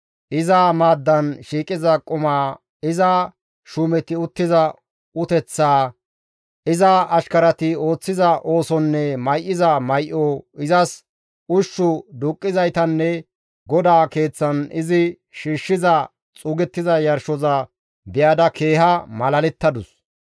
iza maaddan shiiqiza qumaa, iza shuumeti uttiza uteththaa, iza ashkarati ooththiza oosonne may7iza may7o, izas ushshu duuqqizaytanne GODAA Keeththan izi shiishshiza xuugettiza yarshoza be7ada keeha malalettadus.